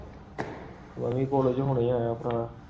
ਮੈਂ ਵੀ ਕੋਲਗੋ ਹੁਣੇ ਆਯਾ ਭਰਾ